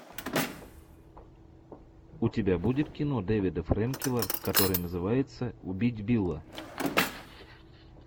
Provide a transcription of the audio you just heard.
у тебя будет кино дэвида френкеля которое называется убить билла